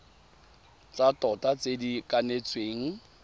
tsa tota tse di kanetsweng